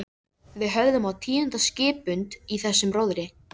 Við höfðum á tíunda skippund í þessum róðri.